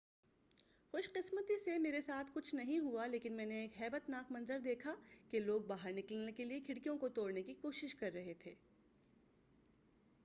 خوش قسمتی سے میرے ساتھ کچھ نہیں ہوا لیکن میں نے ایک ہیبت ناک منظر دیکھا کہ لوگ باہر نکلنے کیلئے کھڑکیوں کو توڑنے کی کوشش کر رہے تھے